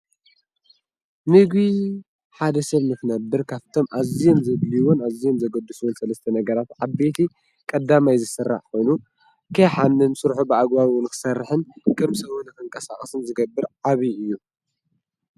ንጕ ሓደ ሰብ ምኽነብር ካፍቶም ኣዘን ዘልይውን ኣዘን ዘጐድስወን ሠለስተ ነገራፍ ዓበይቲ ቀዳማይ ዝሠራዕ ኮኑ ከሓንን ሡርኁ ብዕጓዊ ንኽሠርሕን ቅምሰዉን ኸንቀሳቐስን ዝገብር ዓብዪ እዩ